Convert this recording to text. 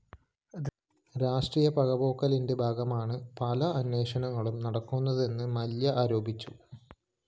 രാഷ്ട്രീയ പകപോക്കലിന്റെ ഭാഗമായാണ് പല അന്വേഷണങ്ങളും നടക്കുന്നതെന്ന് മല്യ ആരോപിച്ചു